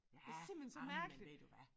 Ja jamen ved du hvad